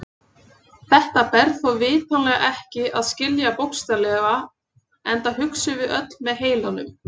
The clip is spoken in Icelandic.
Þetta ber þó vitanlega ekki að skilja bókstaflega enda hugsum við öll með heilanum.